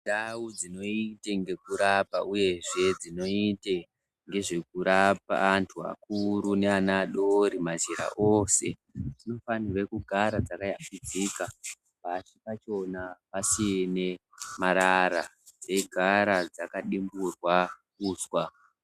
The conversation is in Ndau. Ndau dzinoite ngekurapa uyezve uyezve dzinoite nezvekurapa antu akuru neana adori mazera ose dzofanire kugara dzakayambidzika Pasi pachona pasine marara dzeigara dzakadimburwa uswa.